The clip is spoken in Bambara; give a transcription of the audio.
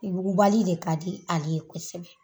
Yugubali de ka di ale ye kosɛbɛ